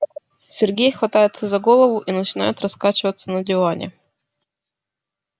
сергей хватается за голову и начинает раскачиваться на диване